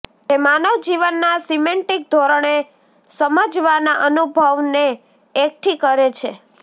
તે માનવ જીવનના સિમેન્ટીક ધોરણે સમજવાના અનુભવને એકઠી કરે છે